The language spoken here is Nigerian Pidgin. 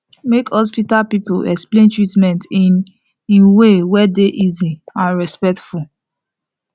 make hospital people explain treatment in in way wey dey easy and respectful